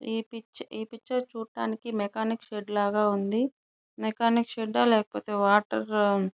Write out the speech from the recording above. ఈ పిక్చర్ ఈ పిక్చర్ చూడటానికి మెకానిక్ షెడ్ లాగా ఉంది మెకానిక్ షెడ్ ఆ లేకపోతె వాటర్ --